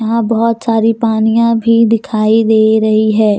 वहां बहुत सारी पानिया भी दिखाई दे रही है।